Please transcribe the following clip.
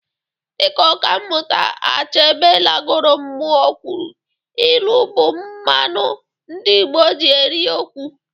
Dịka ọka mmụta Achebe lagoro mmụọ kwuru, ịlụ bụ mmanụ ndị Igbo ji eri okwu